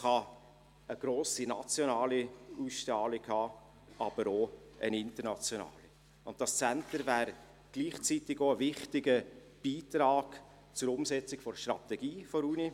Es kann eine grosse nationale Ausstrahlung haben, aber auch eine internationale, und das Centre wäre gleichzeitig auch ein wichtiger Beitrag zur Umsetzung der Strategie der Universität.